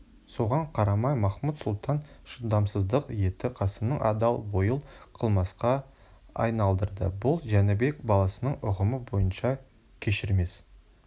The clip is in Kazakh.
соған қарамай махмуд-сұлтан шыдамсыздық етті қасымның адал ойын қылмысқа айналдырды бұл жәнібек баласының ұғымы бойынша кешірмес